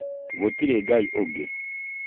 Gũtirĩ Ngai ũngĩ